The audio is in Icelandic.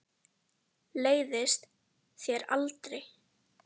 Leiðist þér aldrei?